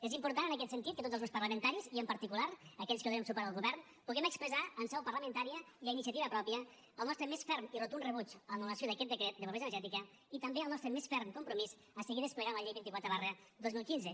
és important en aquest sentit que tots els grups parlamentaris i en particular aquells que donem suport al govern puguem expressar en seu parlamentària i a iniciativa pròpia el nostre més ferm i rotund rebuig a l’anul·lació d’aquest decret de pobresa energètica i també el nostre més ferm compromís a seguir desplegant la llei vint quatre dos mil quinze